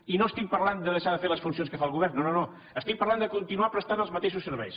i no estic parlant de deixar de fer les funcions que fa el govern no no no estic parlant de continuar prestant els mateixos serveis